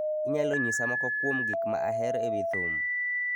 Inyalo nyisa moko kuom gik ma ahero e wi thum.